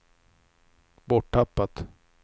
borttappat